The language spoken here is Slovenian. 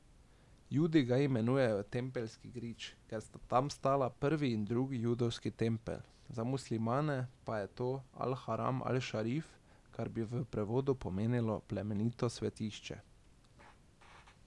Judi ga imenujejo Tempeljski grič, ker sta tam stala prvi in drugi judovski tempelj, za muslimane pa je to al Haram al Šarif, kar bi v prevodu pomenilo plemenito svetišče.